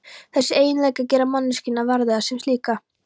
Þessir eiginleikar gera manneskjuna verðuga sem slíka.